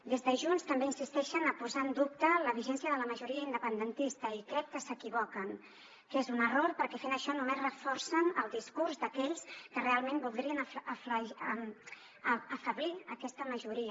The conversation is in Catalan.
des de junts també insisteixen a posar en dubte la vigència de la majoria independentista i crec que s’equivoquen que és un error perquè fent això només reforcen el discurs d’aquells que realment voldrien afeblir aquesta majoria